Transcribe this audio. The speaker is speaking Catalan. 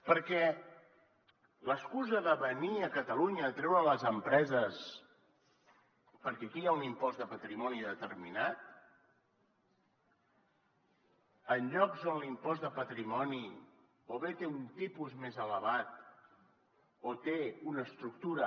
perquè l’excusa de venir a catalunya a treure les empreses perquè aquí hi ha un impost de patrimoni determinat en llocs on l’impost de patrimoni o bé té un tipus més elevat o té una estructura